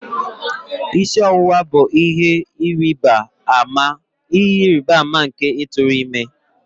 Isi ọwụwa bụ ihe ịrịba ama nke ịtụrụ ime